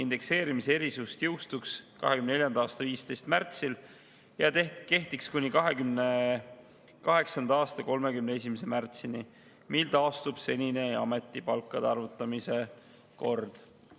Indekseerimise erisus jõustuks 2024. aasta 15. märtsil ja kehtiks kuni 2028. aasta 31. märtsini, mil taastub senine ametipalkade arvutamise kord.